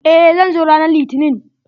Eh, zan zo ranan litinin.